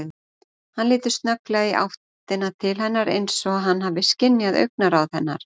Hann lítur snögglega í áttina til hennar eins og hann hafi skynjað augnaráð hennar.